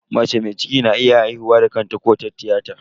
Mace na iya haihuwa da kanta ko ta tiyata.